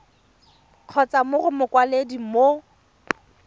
kgotsa mo go mokwaledi mo